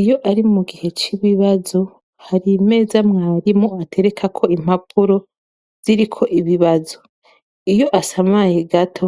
Iyo ari mu gihe c'ibibazo hari meza mwarimu atereka ko impapuro ziriko ibibazo iyo asamaye gato